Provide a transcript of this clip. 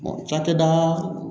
cakɛda